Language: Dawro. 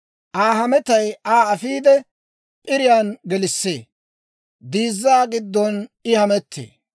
«Aa hametay Aa afiide, p'iriyaan gelissee; diizzaa giddon I hamettee.